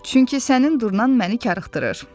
Çünki sənin durnan məni karıxdırır.